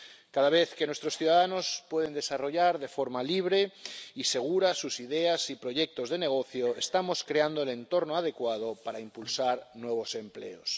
Cada vez que nuestros ciudadanos pueden desarrollar de forma libre y segura sus ideas y proyectos de negocio, estamos creando el entorno adecuado para impulsar nuevos empleos.